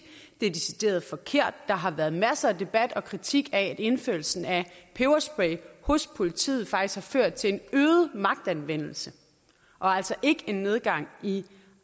det er decideret forkert der har været masser af debat og kritik af indførelsen af peberspray hos politiet faktisk har ført til en øget magtanvendelse og altså ikke en nedgang i